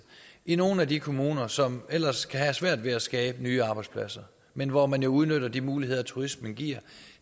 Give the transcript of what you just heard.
i nogle af de kommuner som ellers kan have svært ved at skabe nye arbejdspladser men hvor man jo udnytter de muligheder turismen giver